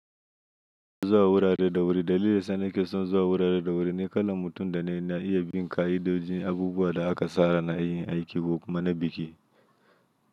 Zuwa wurare da wuri. Dalilin da yasa nake son zuwa wurare da wuri ni kalan mutum da ne na iya bin kaidodin abubuwa da aka tsara na yin aiki ko kuma na biki.